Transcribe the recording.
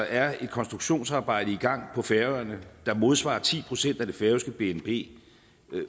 er et konstruktionsarbejde i gang på færøerne der modsvarer ti procent af det færøske bnp